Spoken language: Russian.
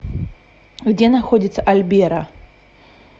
где находится альберо